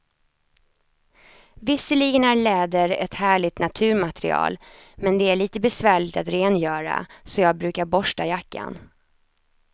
Visserligen är läder ett härligt naturmaterial, men det är lite besvärligt att rengöra, så jag brukar borsta jackan.